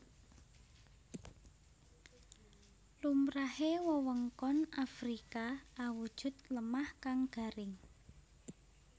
Lumrahe wewengkon Afrika awujud lemah kang garing